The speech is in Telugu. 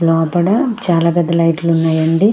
లోపట చాల పెద్ద లైట్లు ఉన్నాయి అండి.